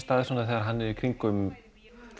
stað þegar hann er í kringum